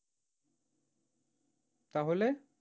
তাহলে?